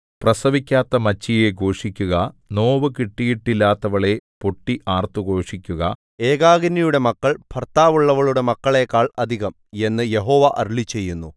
പ്രസവിക്കാത്ത മച്ചിയേ ഘോഷിക്കുക നോവു കിട്ടിയിട്ടില്ലാത്തവളേ പൊട്ടി ആർത്തു ഘോഷിക്കുക ഏകാകിനിയുടെ മക്കൾ ഭർത്താവുള്ളവളുടെ മക്കളേക്കാൾ അധികം എന്നു യഹോവ അരുളിച്ചെയ്യുന്നു